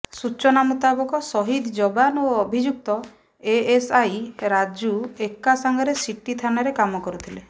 ସୂଚନା ମୁତାବକ ସହିଦ୍ ଯବାନ ଓ ଅଭିଯୁକ୍ତ ଏଏସ୍ଆଇ ରାଜୁ ଏକା ସାଙ୍ଗରେ ସିଟି ଥାନାରେ କାମ କରୁଥିଲେ